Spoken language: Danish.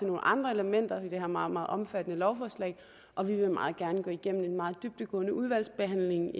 nogle andre elementer i det her meget meget omfattende lovforslag og vi vil meget gerne gå igennem en meget dybdegående udvalgsbehandling